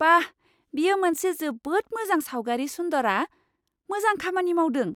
बा! बेयो मोनसे जोबोद मोजां सावगारि सुन्दरा! मोजां खामानि मावदों।